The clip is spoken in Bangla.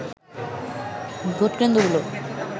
ভোটকেন্দ্রগুলো